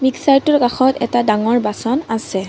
মিক্সাটোৰ কাষত এটা ডাঙৰ বাচন আছে।